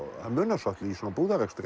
það munar svolitlu í svona